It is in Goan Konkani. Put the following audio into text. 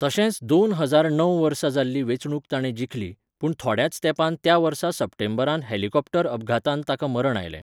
तशेंच दोन हजार णव वर्सा जाल्ली वेंचणूक ताणे जिखली, पूण थोड्याच तेंपान त्या वर्सा सप्टेंबरांत हेलिकॉप्टर अपघातांत ताका मरण आयलें.